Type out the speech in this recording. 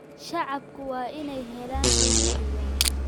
Shacabku waa inay helaan xog sugan.